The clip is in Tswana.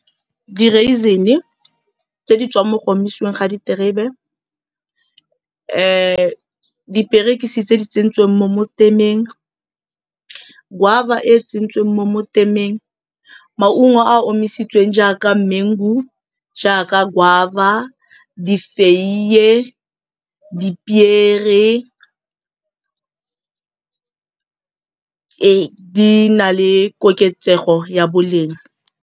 Di-raisin-e tse di tswang mo go omisiweng ga diterebe, diperekisi tse di tsentsweng mo motemeng, guava e tsentsweng mo motemeng, maungo a a omisitsweng jaaka mango-u, jaaka guava, difeiye, dipiere ee, di na le koketsego ya boleng.